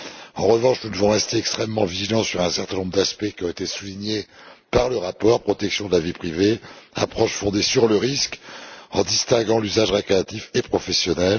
En revanche, nous devons rester extrêmement vigilants sur un certain nombre d'aspects, qui ont été soulignés par le rapport protection de la vie privée, approche fondée sur le risque, distinction de l'usage récréatif et professionnel.